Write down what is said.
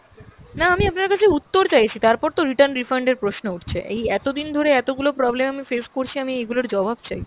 না আমি আপনার কাছে উত্তর চাইছি, তারপর তো return, refund এর প্রশ্ন উঠছে। এই এতদিন ধরে এতগুলো problem আমি face করছি আমি এইগুলোর জবাব চাই।